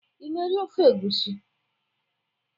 Ị na-eri ofe egwusi?